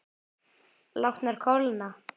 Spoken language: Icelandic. Látnar kólna.